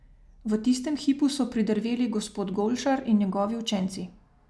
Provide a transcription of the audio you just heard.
V tistem hipu so pridrveli gospod Golšar in njegovi učenci.